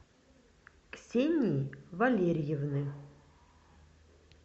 ксении валериевны